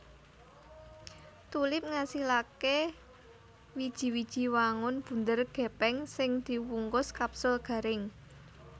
Tulip ngasilaké wiji wiji wangun bunder gèpèng sing diwungkus kapsul garing